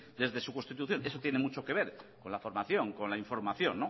desde su constitución eso tiene mucho que ver con la formación con la información